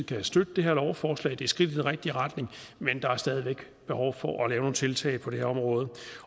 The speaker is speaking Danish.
kan støtte det her lovforslag det skridt i den rigtige retning men der er stadig væk behov for at lave nogle tiltag på det her område